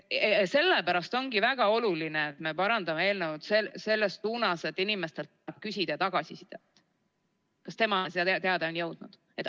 Sellepärast ongi väga oluline, et me parandame eelnõu selles suunas, et inimeselt küsitaks tagasisidet, kas see teade on temani jõudnud.